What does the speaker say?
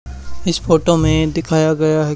इस फोटो में दिखाया गया है--